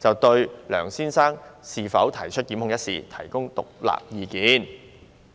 就應否對梁先生提出檢控一事，提供獨立意見。